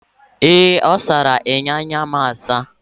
Ee! A sara enyo anya m asa.